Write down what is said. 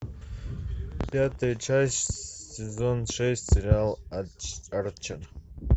пятая часть сезон шесть сериал арчер